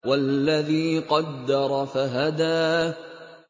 وَالَّذِي قَدَّرَ فَهَدَىٰ